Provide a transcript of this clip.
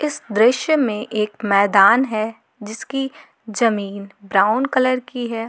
इस दृश्य में एक मैदान है जिसकी जमीन ब्राउन कलर की है।